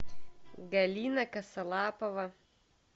галина косолапова